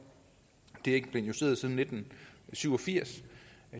det er ikke blevet justeret siden nitten syv og firs